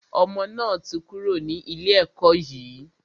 Ọmọ náà ti kúrò ní ilé ẹkọ́ yìí.